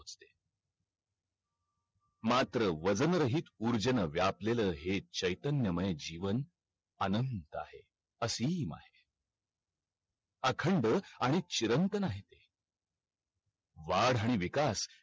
मात्र वजन रहित ऊर्जेने व्यापलेला हे चैतन्य माये जीवन आनंद आहे, असीम आहे अखंड आणि चिरंतन आहे ते वाढ आणि विकास